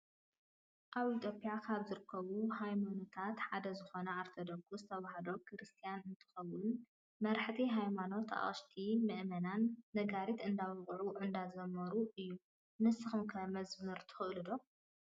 ኣብ ኢትዮጵያ ካብ ዝርከቡ ሃይማኖታት ሓደ ዝኮነ ኦርቶዶክስ ተዋህዶ ክርስትያን እንትከውን፣ መርሓቲ ሃይማኖት ኣቅሽሽትን መእመናትን ነጋሪት እንዳወቁዑ እንዳዘመሩ እዩ። ንስኩም ከ መዝሙር ትክእሉ ዶ?